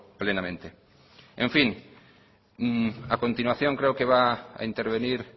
plenamente en fin a continuación creo que va a intervenir